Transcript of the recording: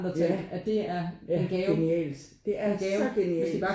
Ja ja genialt det er så genialt